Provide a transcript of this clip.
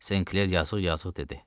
Senkler yazıq-yazıq dedi.